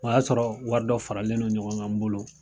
O y'a sɔrɔ wari dɔ faralen non ɲɔgɔn kan n bolo